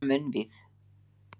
Hún var munnvíð.